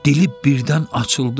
Dili birdən açıldı.